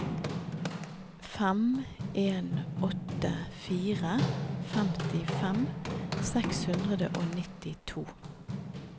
fem en åtte fire femtifem seks hundre og nittito